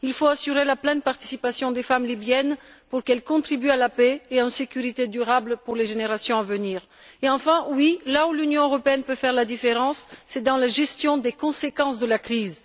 Il faut assurer la pleine participation des femmes libyennes afin qu'elles contribuent à la paix et à la sécurité durable pour les générations à venir. Et enfin oui, l'Union européenne peut faire la différence dans la gestion des conséquences de la crise.